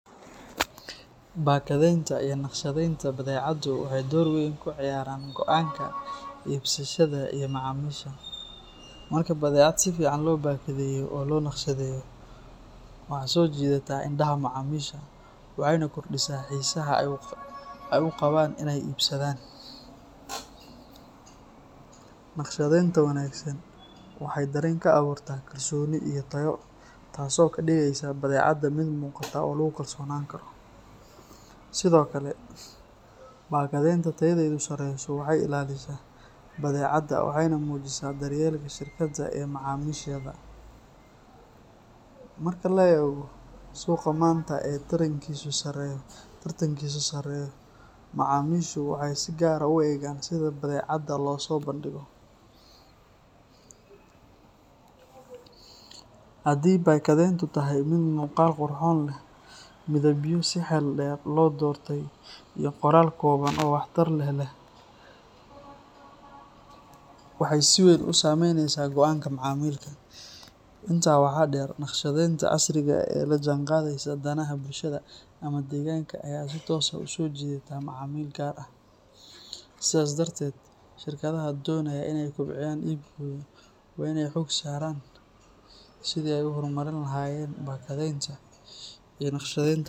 Badadhenta iyo naqshadenta badecado waxee dor weyn ka ciyaran goanka ibsashaadu iyo macamisha marki badecaada sifican lo naqshaadeyo waxaa so jidataa indaha macamishu waxena kordisa xisa ee u qawan in ee ibsadan, naqshaadenta wanagsan waxee taya ka aburta tas oo kadigeysa badecaada, waxee si weyn u haleynesa go anka macamilka, imtas waxaa deer naqshadenta ee bulshaada ama deganka waa in ee xog saran si ee u hor marin lahayen bakadenta iyo naqshadenta.